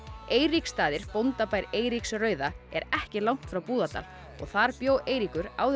Eiríksstaðir bóndabær Eiríks rauða er ekki langt frá Búðardal og þar bjó Eiríkur áður